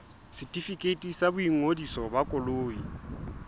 setefikeiti sa boingodiso ba koloi